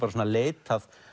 leitað